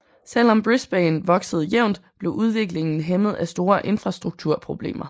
Selv om Brisbane voksede jævnt blev udviklingen hæmmet af store infrastrukturproblemer